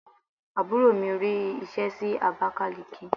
Àbúrò mi rí ṣe sí Abakaliki.